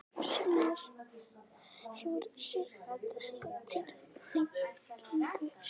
Kristján Már: Hefur þú séð þessa tilhneigingu sjálfur?